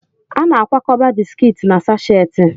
A na-akwakọba bisikiiti na sasheti.